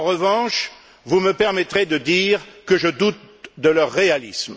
En revanche, vous me permettrez de dire que je doute de leur réalisme.